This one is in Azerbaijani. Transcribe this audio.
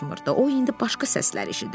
O indi başqa səslər eşidirdi.